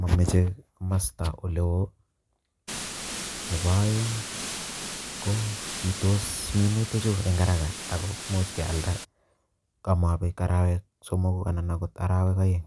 mameche masta ole oo. Nebo oeng ko bitos minutichu eng haraka aku much kealda ko mabek arawek somoku anan akot arawek oeng.